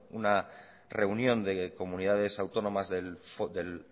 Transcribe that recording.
una reunión de comunidades autónomas del